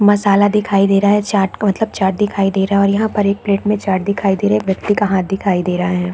मसाला दिखाई दे रहा है चाट का मतलब चाट दिखाई दे रहा और यहाँ पर एक प्लेट में चाट दिखाई दे रहा है एक व्यक्ति का हाथ दिखाई दे रहा है।